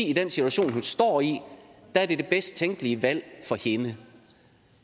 i den situation hun står i er det bedst tænkelige valg for hende